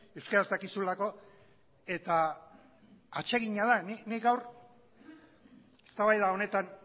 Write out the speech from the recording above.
euskaraz dakizulako eta atsegina da nik gaur eztabaida honetan